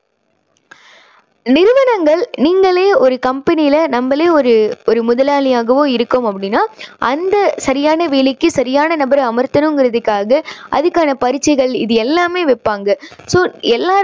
நிறுவனங்கல் நீங்களே ஒரு company ல நம்மளே ஒரு ஒரு முதலாளியாக இருக்கோம் அப்படின்னா அந்த சரியான வேலைக்கு சரியான நபரை அமரத்தணுங்கிறதுக்காக அதுக்கான பரீட்சைகள் இது எல்லாமே வைப்பாங்க. so எல்லாருமே